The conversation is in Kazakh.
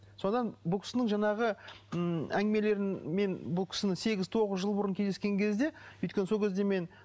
содан бұл кісінің жаңағы м әңгімелерін мен бұл кісінің сегіз тоғыз жыл бұрын кездескен кезде өйткені сол кезде мен